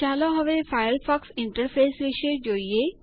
ચાલો હવે Firefox interface વિષે જોઈએ